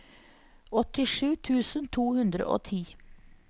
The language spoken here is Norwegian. åttisju tusen to hundre og ti